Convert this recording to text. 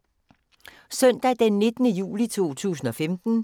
Søndag d. 19. juli 2015